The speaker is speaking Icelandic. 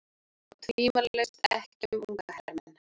Og tvímælalaust ekki um unga hermenn